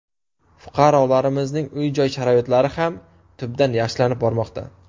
Fuqarolarimizning uy-joy sharoitlari ham tubdan yaxshilanib bormoqda.